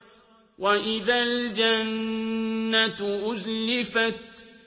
وَإِذَا الْجَنَّةُ أُزْلِفَتْ